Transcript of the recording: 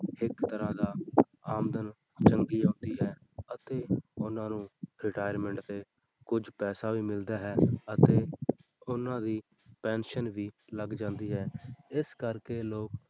ਇੱਕ ਤਰ੍ਹਾਂ ਦਾ ਆਮਦਨ ਚੰਗੀ ਆਉਂਦੀ ਹੈ ਅਤੇ ਉਹਨਾਂ ਨੂੰ retirement ਤੇ ਕੁਛ ਪੈਸਾ ਵੀ ਮਿਲਦਾ ਹੈ ਅਤੇ ਉਹਨਾਂ ਦੀ pension ਵੀ ਲੱਗ ਜਾਂਦੀ ਹੈ ਇਸ ਕਰਕੇ ਲੋਕ,